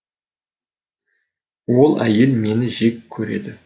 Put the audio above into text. ол әйел мені жек көреді